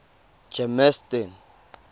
germiston